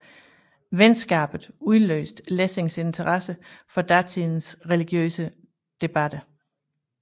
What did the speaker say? Venskabet udløste Lessings interesse for datidens religiøse debatter